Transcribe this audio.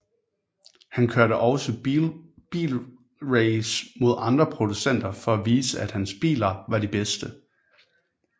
Han kørte også bilrace mod andre producenter for at vise at hans biler var de bedste